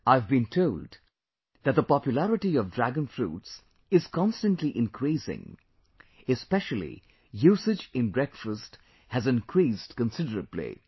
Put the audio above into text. I have been told that the popularity of Dragon Fruits is constantly increasing, especially usage in breakfast has increased considerably